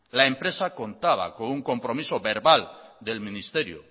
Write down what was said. la empresa contaba con un compromiso verbal del ministerio